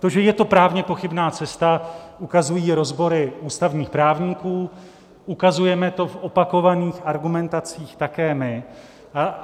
To, že je to právně pochybná cesta, ukazují rozbory ústavních právníků, ukazujeme to v opakovaných argumentacích také my.